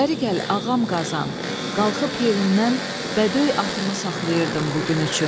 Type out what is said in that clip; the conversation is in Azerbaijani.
Bərigəl ağam qazan, qalxıb yerimdən bədöy atımı saxlayırdım bu gün üçün.